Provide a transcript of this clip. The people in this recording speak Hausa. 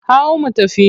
Hau mu tafi!